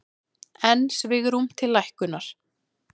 Enn svigrúm til lækkunar